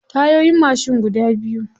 Tayoyin mashin guda biyu.